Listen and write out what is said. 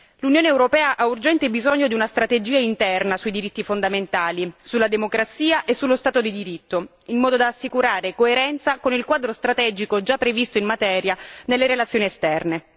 L'Unione europea ha urgente bisogno di una strategia interna sui diritti fondamentali, sulla democrazia e sullo Stato di diritto, in modo da assicurare coerenza con il quadro strategico già previsto in materia nelle relazioni esterne.